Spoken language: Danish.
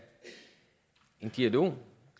dialog